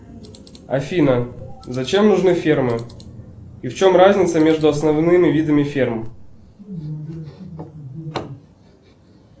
афина зачем нужны фермы и в чем разница между основными видами ферм